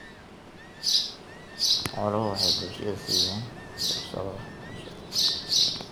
Xooluhu waxay bulshada siiyaan fursado waxbarasho.